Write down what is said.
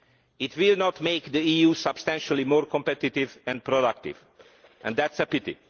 It will not make the EU substantially more competitive and productive, and that is a pity.